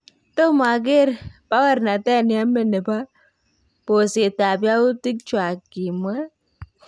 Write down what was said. "Tomo akeer bawoornatet neyamee nebo boseetab yautik chwaak " kimwa.